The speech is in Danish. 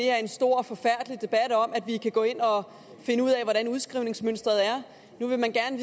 er en stor og forfærdelig debat om at vi kan gå ind og finde ud af hvordan udskrivningsmønsteret er nu vil man gerne